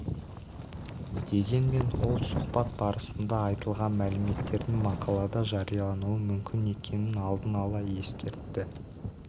дегенмен ол сұхбат барысында айтылған мәліметтердің мақалада жариялануы мүмкін екенін алдын ала ескертті